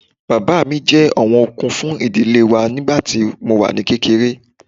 Bàbá mi jẹ́ ọ̀wọ̀n okun fún ìdílé wa nígbà tí mo wà ní kékeré